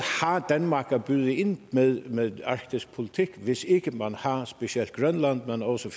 har danmark at byde ind med med i en arktisk politik hvis ikke man har specielt grønland men også